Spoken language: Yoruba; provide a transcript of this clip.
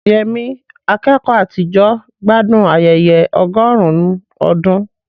Yemi, akẹ́kọ̀ọ́ àtijọ́, gbádùn ayẹyẹ ọgọ́rùn-ún ọdún.